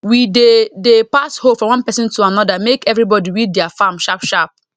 we dey dey pass hoe from one person to another make everybody weed their farm sharp sharp